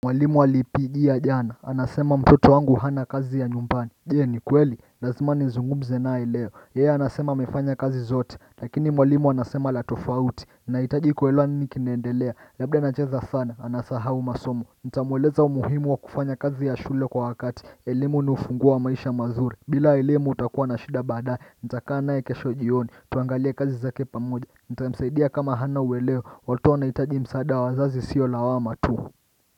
Mwalimu alipigia jana, anasema mtoto wangu hana kazi ya nyumbani. Je ni kweli, lazima nizungmze naye leo, Yeye anasema amefanya kazi zote, lakini mwalimu anasema la tofauti Nahitaji kuelewa ni nini kinaendelea, labda anacheza sana, anasahau masomo. Ntamweleza umuhimu wa kufanya kazi ya shule kwa wakati, elemu ni ufunguo maisha mazuri. Bila elemu utakuwa na shida baadaye, nitakaa naye kesho jioni, tuangalie kazi zake pamoja. Ntamsaidia kama hana ueleo, watoto wanahitaji msaada wa wazazi sio lawama tu.